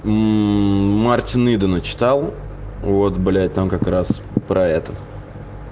ммм мартина идона читал вот блять там как раз про это